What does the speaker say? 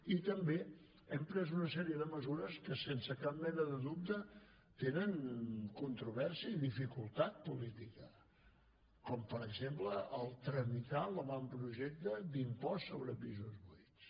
i també hem pres una sèrie de mesures que sense cap mena de dubte tenen controvèrsia i dificultat política com per exemple tramitar l’avantprojecte d’impost sobre pisos buits